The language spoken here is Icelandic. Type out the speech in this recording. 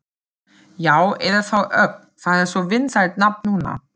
Já, eða þá Ögn, það er svo vinsælt nafn núna.